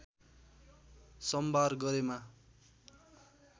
सम्भार गरेमा